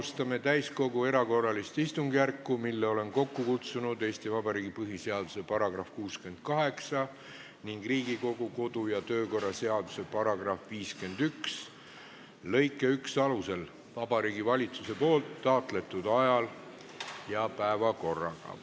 Alustame täiskogu erakorralist istungjärku, mille olen kokku kutsunud Eesti Vabariigi põhiseaduse § 68 ning Riigikogu kodu- ja töökorra seaduse § 51 lõike 1 alusel Vabariigi Valitsuse taotletud ajal ja päevakorraga.